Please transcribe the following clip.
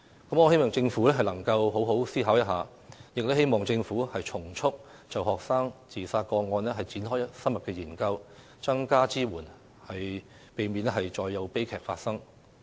我希望政府好好思考一下，並從速就學生自殺個案展開深入研究，增加支援，避免再有悲劇發生。